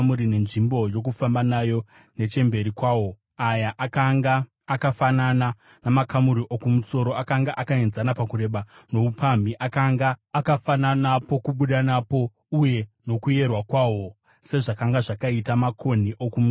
nenzvimbo yokufamba nayo nechemberi kwawo. Aya akanga akafanana namakamuri okumusoro; akanga akaenzana pakureba noupamhi, akanga akafanana pokubuda napo uye nokuyerwa kwawo. Sezvakanga zvakaita makonhi okumusoro